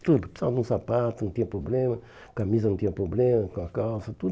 Tudo, precisava de um sapato, não tinha problema, camisa não tinha problema, com a calça, tudo.